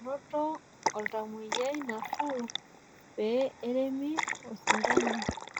Enoto oltamwoyiai nafuu pee eremi osindano.